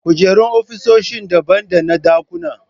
Kujerun ofisoshi daban dana ɗakuna.